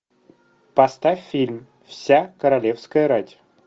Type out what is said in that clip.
поставь фильм вся королевская рать